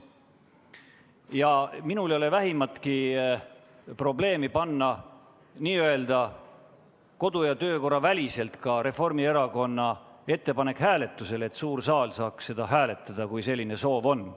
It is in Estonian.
Ja minul ei ole vähimatki probleemi panna Reformierakonna ettepanek n-ö kodu- ja töökorra seaduse väliselt hääletusele, et suur saal saaks seda hääletada, kui selline soov on.